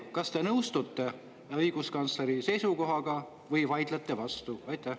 Kas te nõustute õiguskantsleri seisukohaga või vaidlete vastu?